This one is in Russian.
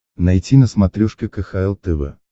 найти на смотрешке кхл тв